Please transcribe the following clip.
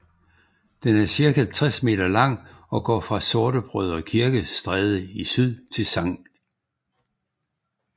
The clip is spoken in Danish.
Den er cirka 60 meter lang og går fra Sortebrødre Kirke Stræde i syd til Sct